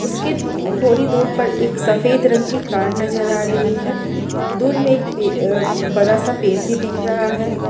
उसके थोड़ी दूर पर एक सफेद रंग की कार नजर आ रही है दूर में एक अ बड़ा सा पेड़ भी दिख रहा है।